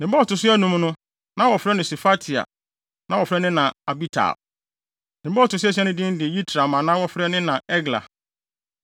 Ne ba a ɔto so anum no, na wɔfrɛ no Sefatia. Na wɔfrɛ ne na Abital. Ne ba a ɔto so asia no din de Yitream a na wɔfrɛ ne na Egla.